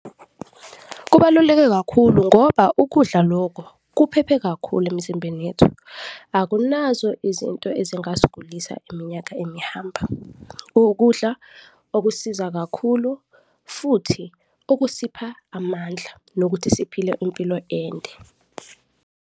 Kubaluleke kakhulu ngoba ukudla loko kuphephe kakhulu emizimbeni yethu, akunazo izinto ezingasigulisa iminyaka emihamba, kuwukudla okusiza kakhulu futhi okusipha amandla nokuthi siphile impilo ende.